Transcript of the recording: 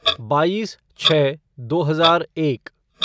बाईस छः दो हजार एक